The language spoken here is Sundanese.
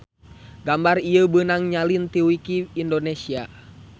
Gambar ieu beunang nyalin ti wiki indonesia